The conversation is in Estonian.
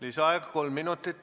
Lisaaeg kolm minutit.